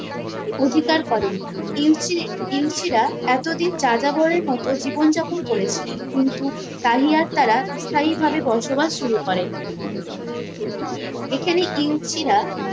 অধিকার করেন ইউসি ইউসিরা এতোদিন যাযাবরের মতো জীবন যাপন করেছিলেন কিন্তু তাই আর তারা স্থায়ী ভাবে বসবাস শুরু করেন এখানে ইউসিরা